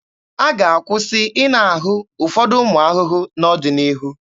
A ga-akwụsị ịna ahụ ụfọdụ ụmụ ahụhụ n'ọdịnihu.